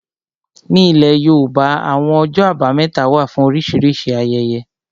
Ní ilẹ̀ yóòbá, àwọn ọjọ́ àbámẹ́ta wà fún oríṣìíríṣìí ayẹyẹ